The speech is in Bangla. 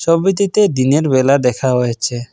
ছবিটিতে দিনের বেলা দেখা হয়েছে।